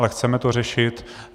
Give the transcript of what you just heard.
Ale chceme to řešit.